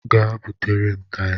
Gaa butere m taya.